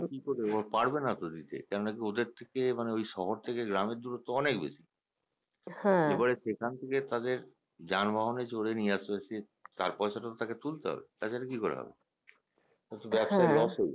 কিকরে দেবে পারবেনা তো দিতে কেন না ওদের থেকে মানে ঐ শহর থেকে গ্রামের দুরত্ব অনেক বেশি এবার সেখান থেকে তাদের যানবাহনে চড়ে নিয়ে আসতে হচ্ছে তার পয়সা তো তাকে তুলতে হবে তাছাড়া কি করে হবে সেটা তো ব্যবসায়ীর অসুবিধা